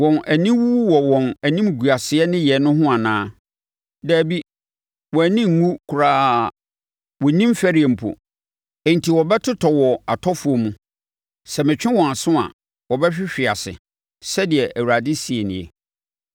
Wɔn ani wu wɔ wɔn animguaseɛ nneyɛɛ no ho anaa? Dabi, wɔn ani nnwu koraa; wɔnnim fɛreɛ mpo. Enti wɔbɛtotɔ wɔ atɔfoɔ mu; sɛ metwe wɔn aso a, wɔbɛhwehwe ase, sɛdeɛ Awurade seɛ nie.